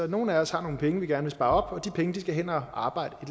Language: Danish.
nogle af os har nogle penge vi gerne vil spare op og de penge skal hen og arbejde